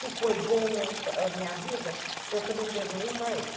Se foi bom a minha vida, eu também devo muito a ele.